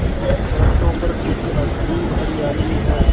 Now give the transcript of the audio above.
वृक्षों पर कुछ अजीब हरियाली है